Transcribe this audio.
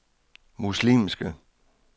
muslimske